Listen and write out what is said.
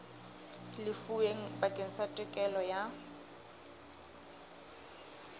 lefuweng bakeng sa tokelo ya